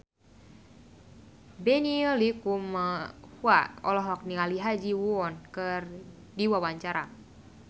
Benny Likumahua olohok ningali Ha Ji Won keur diwawancara